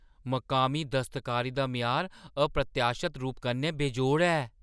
मकामी दस्तकारी दा म्यार अप्रत्याशत रूप कन्नै बेजोड़ ऐ।